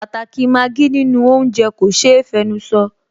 Pàtàkì i Maggi nínú oúnjẹ kò ṣe é fẹnusọ